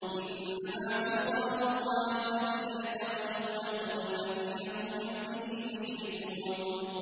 إِنَّمَا سُلْطَانُهُ عَلَى الَّذِينَ يَتَوَلَّوْنَهُ وَالَّذِينَ هُم بِهِ مُشْرِكُونَ